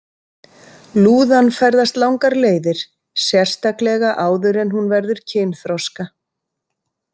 Lúðan ferðast langar leiðir, sérstaklega áður en hún verður kynþroska.